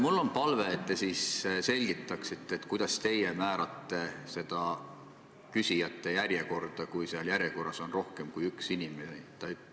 Mul on palve, et te selgitaksite, kuidas te määrate küsijate järjekorra, kui järjekorras on rohkem kui üks inimene.